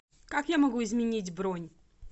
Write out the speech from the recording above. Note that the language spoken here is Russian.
как я могу изменить бронь